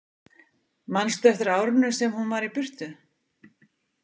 Manstu eftir árinu sem hún var í burtu?